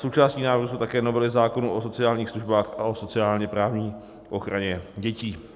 Součástí návrhu jsou také novely zákonů o sociálních službách a o sociálně-právní ochraně dětí.